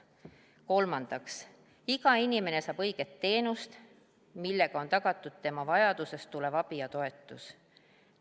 Kolmandaks, iga inimene saab õiget teenust, millega on tagatud tema vajadusest tulenev abi ja toetus.